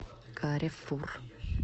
каррефур